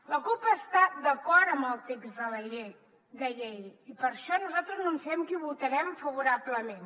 la cup està d’acord amb el text de la llei i per això nosaltres anunciem que hi votarem favorablement